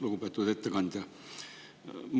Lugupeetud ettekandja!